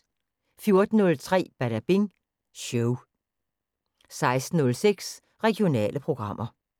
14:03: Badabing Show 16:06: Regionale programmer